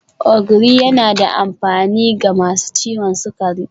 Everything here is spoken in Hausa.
Ogiri yana da amfani ga masu ciwon sukari